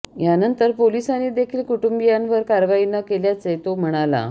यानंतर पोलिसांनी देखील कुटुंबीयांवर कारवाई न केल्याचे तो म्हणाला